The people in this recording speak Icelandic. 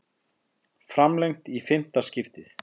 Framlengt í fimmta skiptið